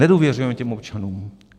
Nedůvěřujeme těm občanům.